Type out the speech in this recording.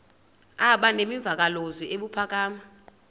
aba nemvakalozwi ebuphakama